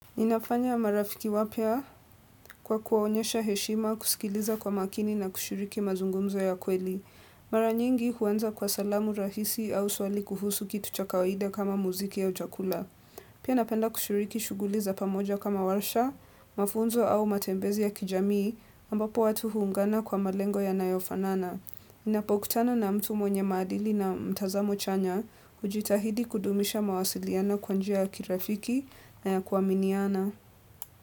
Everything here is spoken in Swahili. Ninafanya marafiki wapya kwa kuwaonyesha heshima kusikiliza kwa makini na kushiriki mazungumzo ya kweli. Mara nyingi huanza kwa salamu rahisi au swali kuhusu kitu cha kawaida kama muziki au chakula. Pia napenda kushiriki shughuli za pamoja kama warsha, mafunzo au matembezi ya kijamii, ambapo watu huungana kwa malengo yanayofanana. Ninapokutana na mtu mwenye maadili na mtazamo chanya, hujitahidi kudumisha mawasiliano kwa njia ya kirafiki na ya kuaminiana.